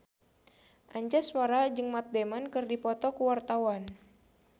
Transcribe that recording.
Anjasmara jeung Matt Damon keur dipoto ku wartawan